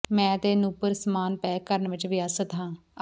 ਮੈਂ ਤੇ ਨੂਪੁਰ ਸਮਾਨ ਪੈਕ ਕਰਨ ਵਿੱਚ ਵਿਅਸਤ ਹਾਂ